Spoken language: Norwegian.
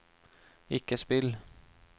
ikke spill